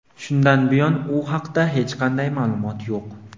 Shundan buyon u haqida hech qanday ma’lumot yo‘q.